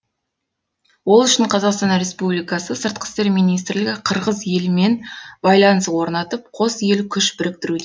ол үшін қазақстан республикасы сыртқы істер министрлігі қырғыз елімен байланыс орнатып қос ел күш біріктіруде